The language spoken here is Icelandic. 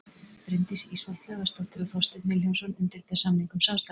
bryndís ísfold hlöðversdóttir og þorsteinn vilhjálmsson undirrita samning um samstarfið